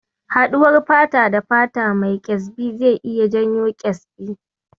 Haɗuwar fata-da-fata da mai ƙyezbi zai iya janyo ƙyezbi.